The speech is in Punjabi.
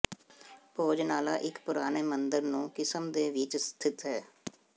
ਭੋਜਨਾਲਾ ਇੱਕ ਪੁਰਾਣੇ ਮੰਦਰ ਨੂੰ ਕਿਸਮ ਦੇ ਵਿੱਚ ਸਥਿਤ ਹੈ